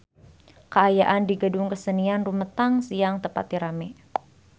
Kaayaan di Gedung Kesenian Rumetang Siang teu pati rame